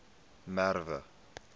merwe